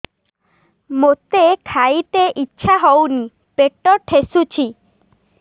ମୋତେ ଖାଇତେ ଇଚ୍ଛା ହଉନି ପେଟ ଠେସୁଛି